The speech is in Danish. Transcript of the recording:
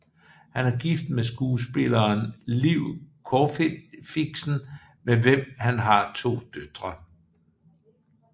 Han er gift med skuespilleren Liv Corfixen med hvem han har to døtre